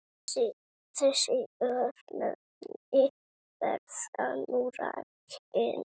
Þessi örnefni verða nú rakin